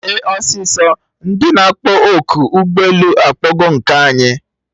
Mee ọsịsọ! Ndị na akpọ oku ụgbọ elu akpọgo nke anyị!